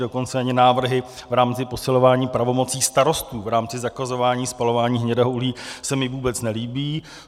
Dokonce ani návrhy v rámci posilování pravomocí starostů v rámci zakazování spalování hnědého uhlí se mi vůbec nelíbí.